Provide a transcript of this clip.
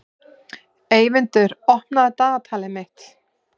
Eyvindur, opnaðu dagatalið mitt.